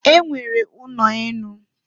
E nwere ụnọ enu.